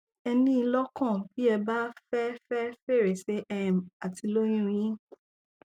ẹ ní i lọkàn bí ẹ bá fẹ fẹ fèrèsé um àti lóyún un yín